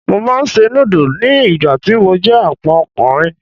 Mo máa ń se núdù ni ìgbà tí mo jẹ́ Àpọ́n ọkùnrin.